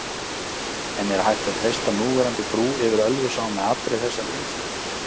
En er hægt að treysta núverandi brú yfir Ölfusá með allri þessari umferð?